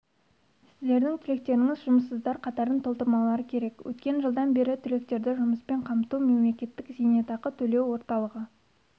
сіздердің түлектеріңіз жұмыссыздар қатарын толтырмаулары керек өткен жылдан бері түлектерді жұмыспен қамту мемлекеттік зейнетақы төлеу орталығы